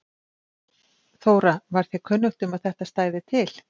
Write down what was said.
Þóra: Var þér kunnugt um að þetta stæði til?